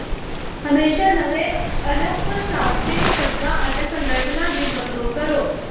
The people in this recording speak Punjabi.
ਹਮੇਸ਼ਾਂ ਨਵੇਂ ਅਣਪਛਾਤੇ ਸ਼ਬਦਾਂ ਅਤੇ ਸੰਗਠਨਾਂ ਦੀ ਵਰਤੋਂ ਕਰੋ